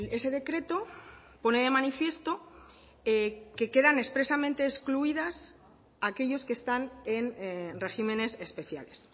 ese decreto pone de manifiesto que quedan expresamente excluidas aquellos que están en regímenes especiales